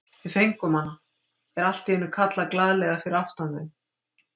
Við fengum hana! er allt í einu kallað glaðlega fyrir aftan þau.